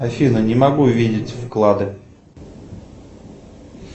афина не могу видеть вклады